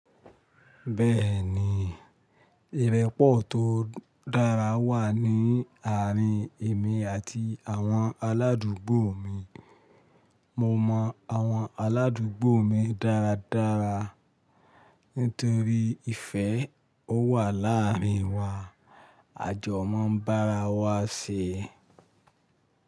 Béèni ìrépò tó dára wa ni áàrin èmi àti àwon aládugbo mi. Mo mọ àwọn aládùúgbò mi dáradára, nítorí ìfẹ́ ó wà làárín wa. Ajo máa ń bára wa ṣè.